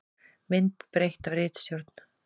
Mynd breytt af ritstjórn.